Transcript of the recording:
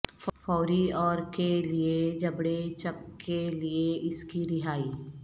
فوری اور کے لیے جبڑے چک کے لئے اس کی رہائی